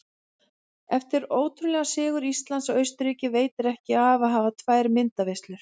Eftir ótrúlegan sigur Íslands á Austurríki veitir ekki af að hafa tvær myndaveislur.